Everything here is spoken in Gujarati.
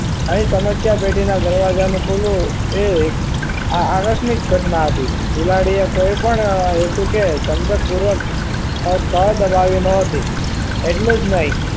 અહીં સમસ્યા પેટીના દરવાજા ખુલવું એ એક આકસ્મિક ઘટના હતી બિલાડીએ કોઈપણ હેતુ કે સમજક પૂર્વક કળ દબાવી ન હતી એટલું જ નહીં